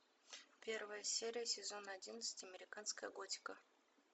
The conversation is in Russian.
первая серия сезон одиннадцать американская готика